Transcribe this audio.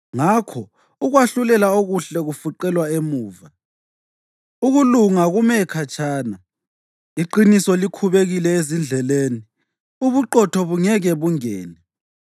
Ngakho ukwahlulela okuhle kufuqelwa emuva, ukulunga kume khatshana; iqiniso likhubekile ezindleleni, ubuqotho bungeke bungene.